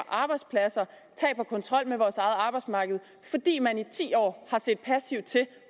arbejdspladser og kontrol med vores eget arbejdsmarked fordi man i ti år har set passivt til